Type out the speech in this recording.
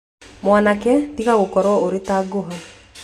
Mwanake tiga gũkorũo ũrĩ ta ngũha